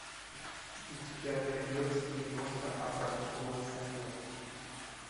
у тебя найдется киношка образцовый самец